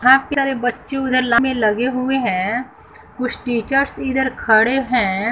हां प्यारे बच्चे उधर लाइन में लगे हुए हैं कुछ टीचर्स इधर खड़े हैं।